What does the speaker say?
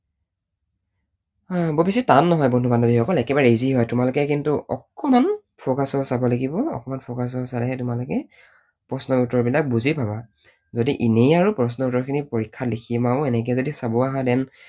আহ বৰ পিছে টান নহয় বন্ধু বান্ধৱী সকল, একেবাৰে easy হয়, তোমালোকে কিন্তু অকণমান focused হৈ চাব লাগিব, অকণমান focused হৈ চালেহে তোমালোকে প্ৰশ্নৰ উত্তৰবিলাক বুজি পাবা। যদি এনেই আৰু প্ৰশ্নৰ উত্তৰ খিনি পৰীক্ষাত লিখিম আৰু এনেকৈ যদি চাব আহা then